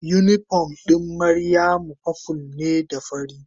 Unipom ɗin Maryamu purple ne da fari.